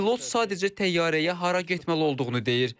Pilot sadəcə təyyarəyə hara getməli olduğunu deyir.